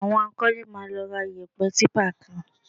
Àwọn akọ́lé máa lọ ra iyẹ̀pẹ̀ típà kan